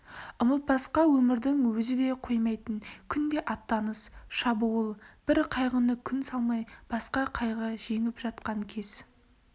ұмытпасқа өмірдің өзі де қоймайтын күнде аттаныс шабуыл бір қайғыны күн салмай басқа қайғы жеңіп жатқан кез